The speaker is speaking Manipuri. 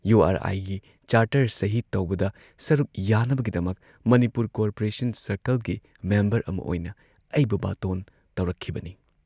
ꯌꯨ ꯑꯥꯔ ꯑꯥꯏꯒꯤ ꯆꯥꯔꯇꯔ ꯁꯍꯤ ꯇꯧꯕꯗ ꯁꯔꯨꯛ ꯌꯥꯅꯕꯒꯤꯗꯃꯛ ꯃꯅꯤꯄꯨꯔ ꯀꯣꯔꯄꯣꯔꯦꯁꯟ ꯁꯔꯀꯜꯒꯤ ꯃꯦꯝꯕꯔ ꯑꯃ ꯑꯣꯏꯅ ꯑꯩꯕꯨ ꯕꯥꯇꯣꯟ ꯇꯧꯔꯛꯈꯤꯕꯅꯤ ꯫